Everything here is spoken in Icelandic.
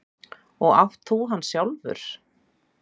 Og átt þú hann sjálfur?